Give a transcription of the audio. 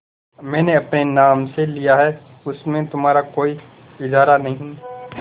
मैंने अपने नाम से लिया है उसमें तुम्हारा कोई इजारा नहीं